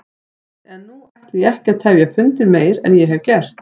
En nú ætla ég ekki að tefja fundinn meir en ég hef gert.